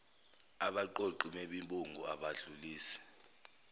abaqoqi bemibungu abadlulisi